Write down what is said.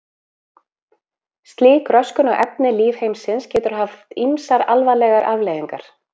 Slík röskun á efni lífheimsins getur haft ýmsar alvarlegar afleiðingar.